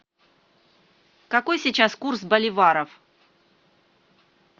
какой сейчас курс боливаров